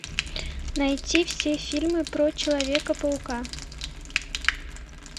найти все фильмы про человека паука